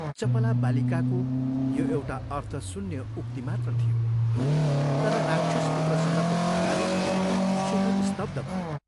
चपला बालिकाको यो एउटा अर्थशून्य उक्ति मात्र थियो तर राक्षसपुत्रसँगको तुलनाले शेखर स्तब्ध भयो।